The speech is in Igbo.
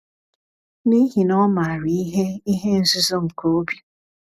N’ihi na Ọ maara ihe ihe nzuzo nke obi.